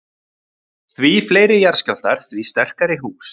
Því fleiri jarðskjálftar, því sterkari hús.